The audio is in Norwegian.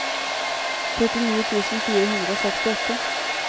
trettini tusen fire hundre og sekstiåtte